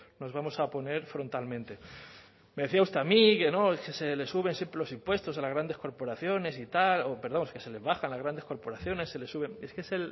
nos vamos a oponer frontalmente me decía usted a mí que no es que se le suben siempre los impuestos a las grandes corporaciones y tal o perdón que se les baja a las grandes corporaciones se les suben es que es